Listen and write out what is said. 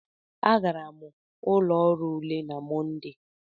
Agara m ụlọ ọrụ ule na Mọnde.